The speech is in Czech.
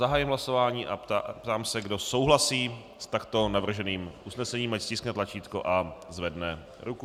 Zahajuji hlasování a ptám se, kdo souhlasí s takto navrženým usnesením, ať stiskne tlačítko a zvedne ruku.